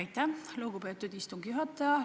Aitäh, lugupeetud istungi juhataja!